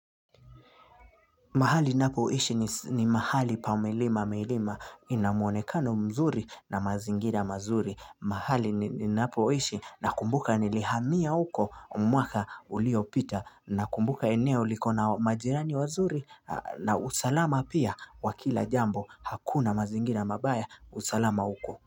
Mahali napo ishi ni mahali pamilima milima inamuonekano mzuri na mazingira mazuri. Mahali ni napo ishi na kumbuka nilihamia uko mwaka ulio pita na kumbuka eneo likona majirani wazuri na usalama pia wa kila jambo hakuna mazingira mabaya usalama uko.